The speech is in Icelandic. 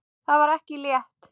Það var ekki létt.